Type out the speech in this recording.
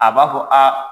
A b'a fɔ aa